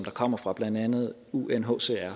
kommer fra blandt andet unhcr